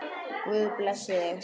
Guð blessi þig.